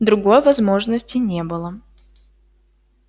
другой возможности не было